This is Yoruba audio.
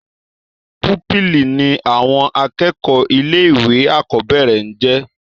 púpìlì ní àwọn akẹ́kọ̀ọ́ ilé ìwé àkọ́bẹ̀rẹ̀ ńjẹ́